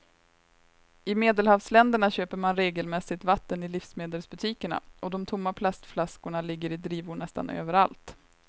I medelhavsländerna köper man regelmässigt vatten i livsmedelsbutikerna och de tomma plastflaskorna ligger i drivor nästan överallt.